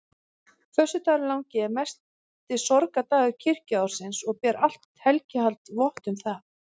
Föstudagurinn langi er mesti sorgardagur kirkjuársins og ber allt helgihald vott um það.